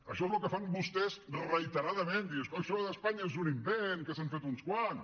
això és el que fan vostès reiteradament dir això d’espanya és un invent que s’han fet uns quants